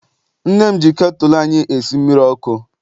Nne m ji ketụlụ anyị esi mmiri ọkụ.